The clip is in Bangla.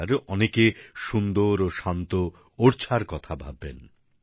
আবার অনেকে সুন্দর ও শান্ত ওর্ছার কথা ভাববেন